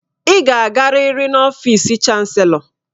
Ị ga-agarịrị n'ọfịsi chanselọ